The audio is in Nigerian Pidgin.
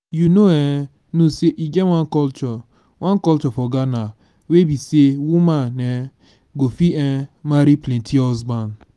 you no um know say e get one culture one culture for ghana wey be say woman um go fit um marry plenty husband